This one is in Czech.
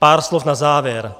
Pár slov na závěr.